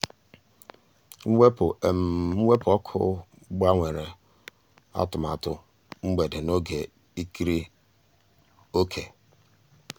mwepụ́ mwepụ́ ọ́kụ́ gbànwèrè um àtụ̀màtụ́ um mgbedé n'ògé ìkírí òkè.